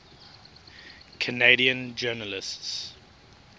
canadian journalists